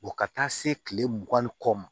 ka taa se kile mugan ni kɔ ma